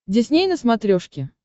дисней на смотрешке